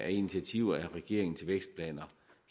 initiativer fra regeringens vækstplan